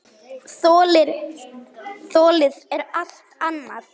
Þolið er allt annað.